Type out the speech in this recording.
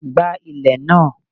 gba ilè naa!